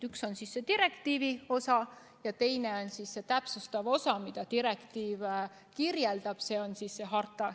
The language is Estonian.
Üks on see direktiivi osa, ja teine on see täpsustav osa, see, mida direktiiv kirjeldab, see on harta.